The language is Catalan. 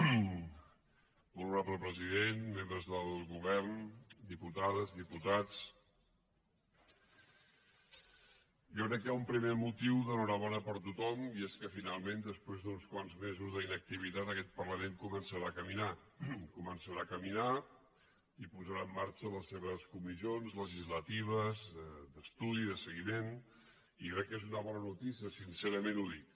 molt honorable president membres del govern diputades diputats jo crec que hi ha un primer motiu d’enhorabona per a tothom i és que finalment després d’uns quants mesos d’inactivitat aquest parlament començarà a caminar començarà a caminar i posarà en marxa les seves comissions legislatives d’estudi de seguiment i crec que és una bona notícia sincerament ho dic